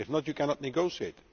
if not, you cannot negotiate.